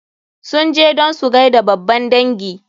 Sun je don su gaida babban dangi.